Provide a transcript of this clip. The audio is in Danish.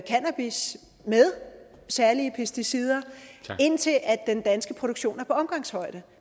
cannabis med særlige pesticider indtil den danske produktion er på omgangshøjde